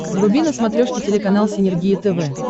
вруби на смотрешке телеканал синергия тв